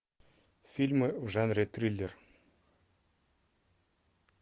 фильмы в жанре триллер